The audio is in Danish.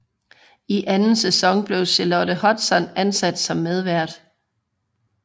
I anden sæson blev Charlotte Hudson ansat som medvært